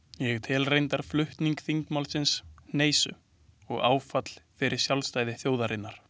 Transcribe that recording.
Ég tel reyndar flutning þingmálsins hneisu og áfall fyrir sjálfstæði þjóðarinnar.